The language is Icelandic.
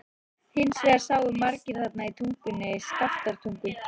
Hins vegar sáu margir þarna í Tungunni, Skaftártungu.